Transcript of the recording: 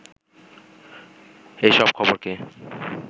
এ সব খবরকে